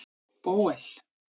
Bóel